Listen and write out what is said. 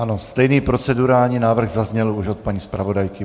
Ano, stejný procedurální návrh zazněl už od paní zpravodajky.